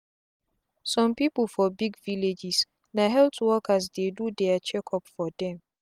some people for big villages na health workers dey do their check up for them.